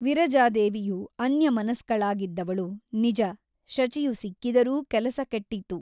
ವಿರಜಾದೇವಿಯು ಅನ್ಯಮನಸ್ಕಳಾಗಿದ್ದವಳು ನಿಜ ಶಚಿಯು ಸಿಕ್ಕಿದರೂ ಕೆಲಸ ಕೆಟ್ಟಿತು.